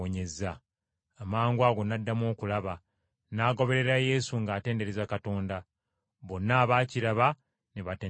Amangwago n’addamu okulaba, n’agoberera Yesu ng’atendereza Katonda. Bonna abaakiraba ne batendereza Katonda.